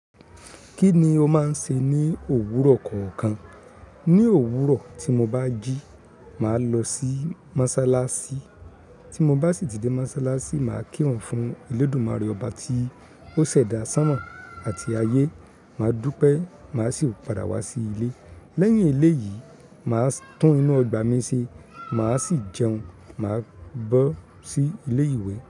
Kíni ó máa ń ṣe ní òwúrọ̀ kọ̀ọ̀kan? Ni òwúrọ̀ tí mo bá jí, màá lọ sí mọ́sálásí. Tí mo bá sì tí dé mọ́sálásí, màá kírun fún Elédùmarè Ọba tí ó ṣẹ̀dá sánmọ̀ àti ayé. Màá dúpẹ́, màá sì padà wá sí ilé. Lẹ́yìn eléyìí, màá tún inú ọgbà mi ṣe, màá sì jẹun, màá bọ́ sí ilé ìwé.